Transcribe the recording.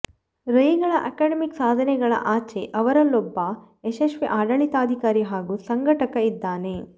ರೈಗಳ academic ಸಾಧನೆಗಳ ಆಚೆ ಅವರಲ್ಲೊಬ್ಬ ಯಶಸ್ವಿ ಆಡಳಿತಾಧಿಕಾರಿ ಹಾಗೂ ಸಂಘಟಕ ಇದ್ದಾನೆ